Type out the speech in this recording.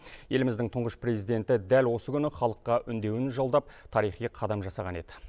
еліміздің тұңғыш президенті дәл осы күні халыққа үндеуін жолдап тарихи қадам жасаған еді